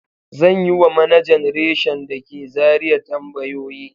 Zan yi wa manajan reshin da ke Zariya tambayoyi.